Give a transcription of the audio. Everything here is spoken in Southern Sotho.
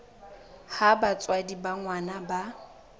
ha batswadi ba ngwana ba